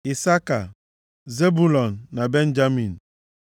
Isaka, Zebụlọn na Benjamin;